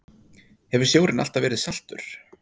Hefur sjórinn alltaf verið saltur?